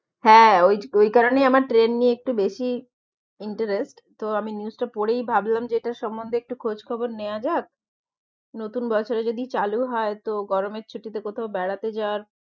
হ্যাঁ ওই~ ওই কারণেই আমার ট্রেন নিয়ে একটু বেশিই interest তো আমি news টা পরেই ভাবলাম যে এটার সমম্মন্ধে একটু খোঁজ খবর নেওয়া যাক নতুন বছরে যদি চালু হয় তো গরমের ছুটিতে কোথাও বেড়াতে যাওয়ার